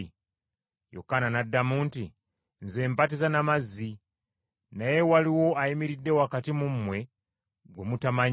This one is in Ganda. Yokaana n’addamu nti, “Nze mbatiza na mazzi, naye waliwo ayimiridde wakati mu mmwe gwe mutamanyi,